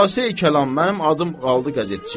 Xülasəyi-kəlam, mənim adım qaldı qəzetçi.